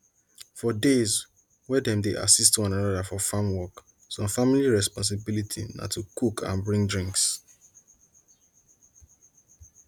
for days wey dem dey assist one another for farm work some family responsibility na to cook and bring drinks